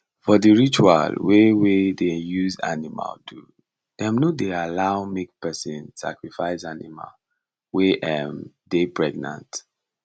for the ritual wey wey dey use animal do dem no allow make person sacrifice animal wey um dey pregnant